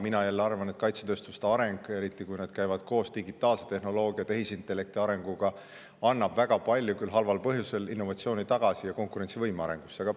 Mina jälle arvan, et kaitsetööstuste areng, eriti kui see käib koos digitaalse tehnoloogia ja tehisintellekti arenguga, annab väga palju, küll halval põhjusel, innovatsiooni ja konkurentsivõime arengusse tagasi.